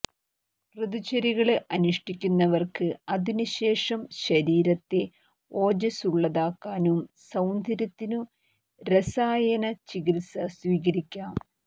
ഋതുചര്യകള് അനുഷ്ഠിക്കുന്നവര്ക്ക് അതിനു ശേഷം ശരീരത്തെ ഓജസുള്ളതാക്കാനും സൌന്ദര്യത്തിനു രസായന ചികിത്സ സ്വീകരിക്കാം